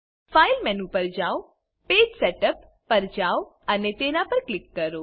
file menu પર જાઓ page setup પર જાઓ અને તેના પર ક્લિક કરો